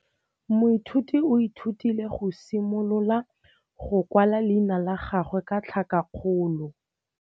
Moithuti o ithutile go simolola go kwala leina la gagwe ka tlhakakgolo.